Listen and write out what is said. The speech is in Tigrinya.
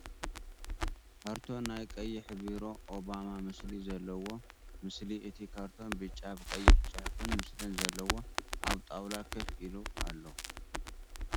ካርቶን ናይ ቀይሕ ቢሮ ኦባማ ምስሊ ዘለዎ ምስሊ እቲ ካርቶን ቢጫ ብቀይሕ ፅሑፍን ምስልን ዘለዎ ኣብ ጣውላ ኮፍ ኢሉ ኣሎ።